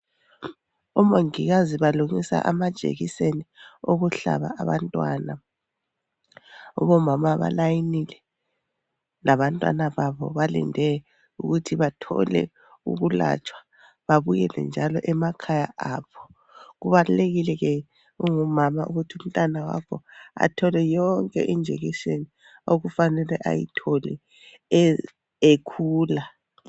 Omongikazi balungisa amajekiseni okuhlaba abantwana ,Abomama balayinile labantwana babo balinde ukuthi bathole ukulatshwa babuyele njalo emakhaya abo kubalulekile ke ungumama ukuthi umntwana wakho athole yonke iInjection okufanele ayithole ekhula.